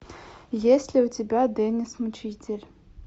есть ли у тебя деннис мучитель